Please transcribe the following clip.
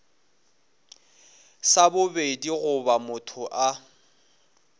sa bobedi goba motho a